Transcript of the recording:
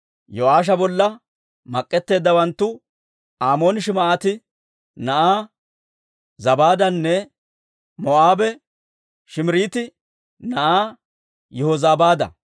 Yo'aasha bolla mak'etteeddawanttu Amoonii Shim"aati na'aa Zabaadanne Moo'aabe Shiimiriiti na'aa Yihozabaada.